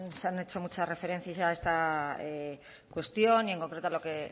se han hecho muchas referencias a esta cuestión y en concreto a lo que